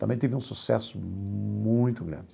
Também teve um sucesso muito grande.